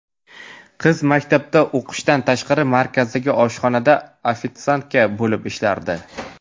Qiz maktabda o‘qishdan tashqari markazdagi oshxonada ‘ofitsiantka’ bo‘lib ishlardi.